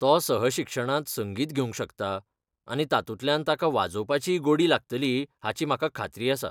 तो सहशिक्षणांत संगीत घेवंक शकता, आनी तातूंतल्यान ताका वाजोवपाचीय गोडी लागतली हाची म्हाका खात्री आसा.